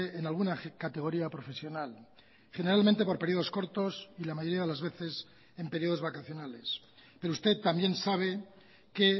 en alguna categoría profesional generalmente por periodos cortos y la mayoría de las veces en periodos vacacionales pero usted también sabe que